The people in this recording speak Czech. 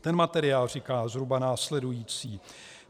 Ten materiál říká zhruba následující: